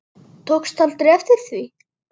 Tókstu aldrei eftir því?